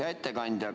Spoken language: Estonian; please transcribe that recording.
Hea ettekandja!